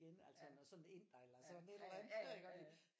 Igen altså når sådan en inder eller sådan et eller andet